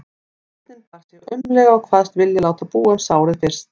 Sveinninn bar sig aumlega og kvaðst vilja láta búa um sárið fyrst.